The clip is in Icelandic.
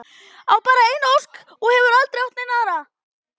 Á bara eina ósk og hefur aldrei átt neina aðra.